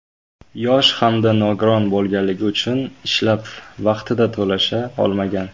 Yosh hamda nogiron bo‘lganligi uchun ishlab vaqtida to‘lasha olmagan.